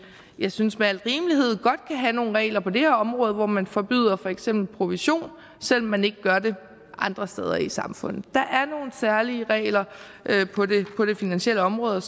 jeg synes med al rimelighed godt kan have nogle regler på det her område hvor man forbyder for eksempel provision selv om man ikke gør det andre steder i samfundet der er nogle særlige regler på det finansielle område og